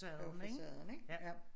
Jo facaden ja